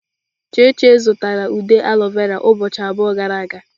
Cheche zụtara ude aloe vera ụbọchị abụọ gara aga.